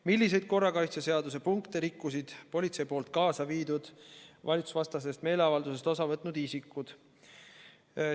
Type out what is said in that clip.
Milliseid korrakaitseseaduse punkte rikkusid politsei poolt kaasa viidud valitsusvastasest meeleavaldusest osa võtnud isikud?